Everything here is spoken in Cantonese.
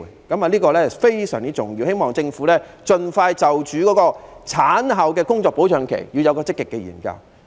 這是非常重要的，我希望政府盡快就婦女產後的工作保障期作出積極研究。